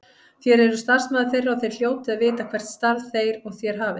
Þér eruð starfsmaður þeirra og þér hljótið að vita hvert starf þeir og þér hafið.